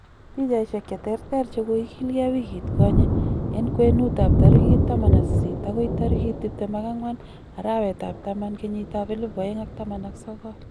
Pichaisiek cheterter chekoigilgei wigit konyee. En kwenuut ab tarigit 18-24 arawet ab taman 2019.